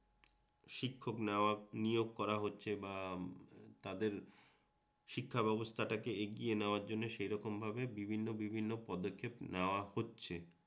শিক্ষক নিয়োগ করা হচ্ছে বা তাদের শিক্ষাব্যবস্থাটাকে এগিয়ে নেওয়ার জন্য সেইরকম ভাবে বিভিন্ন বিভিন্ন পদক্ষেপ নেওয়া হচ্ছে